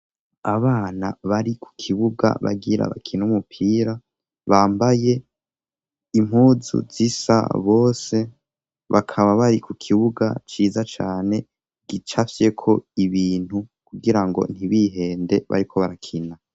Abana bari ku kibuga bagira bakine umupira, bambaye impuzu zisa bose, bakaba bari ku kibuga ciza cane gicafyeko ibintu kugira ngo ntibihende bariko barakina.